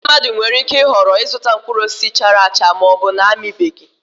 Ndị mmadụ nwere ike ịhọrọ ịzụta mkpụrụ osisi chara acha ma ọ bụ na-amịbeghị